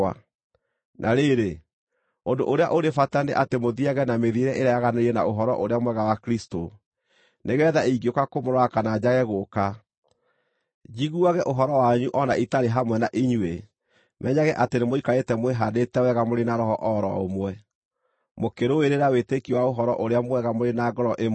Na rĩrĩ, ũndũ ũrĩa ũrĩ bata nĩ atĩ mũthiiage na mĩthiĩre ĩrĩa yaganĩrĩire na Ũhoro-ũrĩa-Mwega wa Kristũ, nĩgeetha ingĩũka kũmũrora kana njage gũũka, njiguage ũhoro wanyu o na itarĩ hamwe na inyuĩ menyage atĩ nĩmũikarĩte mwĩhaandĩte wega mũrĩ na roho o ro ũmwe, mũkĩrũĩrĩra wĩtĩkio wa Ũhoro-ũrĩa-Mwega mũrĩ na ngoro ĩmwe,